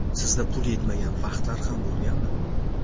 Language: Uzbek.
Sizda pul yetmagan vaqtlar ham bo‘lganmi?